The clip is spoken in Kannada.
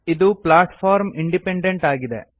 ಇದು ಪ್ಲಾಟ್ಫಾರ್ಮ್ ಇಂಡಿಪೆಂಡೆಂಟ್ ಆಗಿದೆ